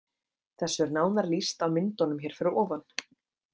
Þessu er nánar lýst á myndunum hér fyrir ofan.